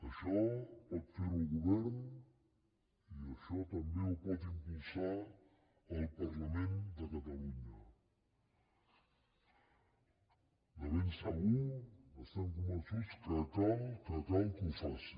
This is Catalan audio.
això pot fer ho el govern i això també ho pot impulsar el parlament de catalunya de ben segur estem convençuts que cal que ho faci